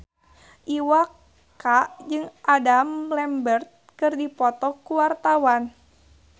Iwa K jeung Adam Lambert keur dipoto ku wartawan